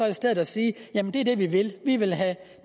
i stedet at sige det er det vi vil vi vil have